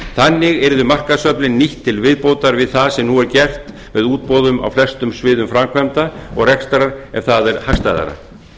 þannig yrðu markaðsöflin nýtt til viðbótar við það sem nú er gert með útboðum á flestum sviðum framkvæmda og rekstrar en það er hagstæðara